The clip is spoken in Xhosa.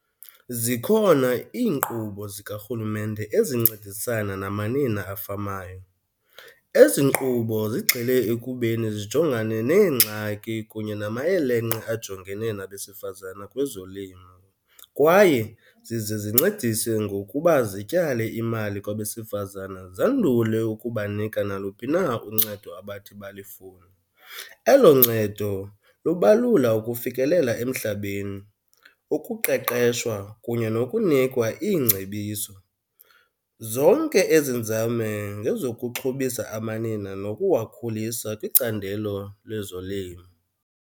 Zikhona inkqubo zikarhulumente ezincedisana namanina afamayo. Ezi nkqubo zigxile ekubeni zijongane neengxaki kunye namayelenqe ajongene nabesifazana kwezolimo. Kwaye zize zincedise ngokuba zityale imali kwabesifazane zandule ukubanika naluphi na uncedo abathi balifune. Elo ncedo lubalula ukufikelela emhlabeni, ukuqeqeshwa kunye nokunikwa iingcebiso. Zonke ezi nzame ngezokuxhobisa amanina nokuwakhulisa kwicandelo lezolimo.